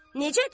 Necədir?